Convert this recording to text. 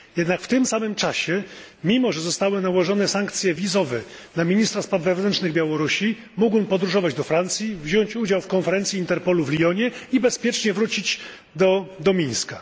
Jednak w tym samym czasie, mimo że zostały nałożone sankcje wizowe na ministra spraw wewnętrznych Białorusi, mógł on podróżować do Francji, wziąć udział w konferencji Interpolu w Lyonie i bezpiecznie wrócić do Mińska.